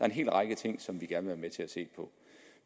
en hel række ting som vi gerne med til at se på